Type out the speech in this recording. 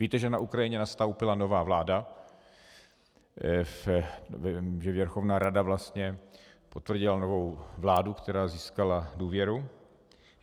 Víte, že na Ukrajině nastoupila nová vláda, Věrchovna rada vlastně potvrdila novou vládu, která získala důvěru.